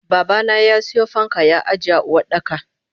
Babana yasiyo fanka ya ajiye a Uwardaka.